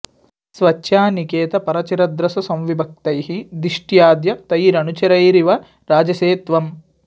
स्वच्छा निकेत परचिद्रस संविभक्तैः दिष्ट्याद्य तैरनुचरैरिव राजसे त्वम्